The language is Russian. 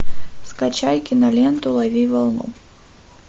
скачай киноленту лови волну